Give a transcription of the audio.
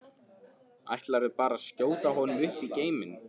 Ætlarðu bara að skjóta honum upp í geiminn?